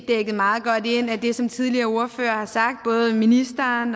dækket meget godt ind af det som tidligere ordførere har sagt både ministeren